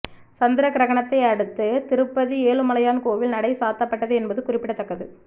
சந்திர கிரகணத்தை அடுத்து திருப்பதி ஏழுமலையான் கோவில் நடை சாத்தப்பட்டது என்பது குறிப்பிடத்தக்கது